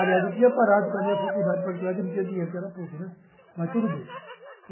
Aliás, eu tinha parado com a minha faculdade particular, que eu não tinha dinheiro, que era PUC, né, mas tudo bem.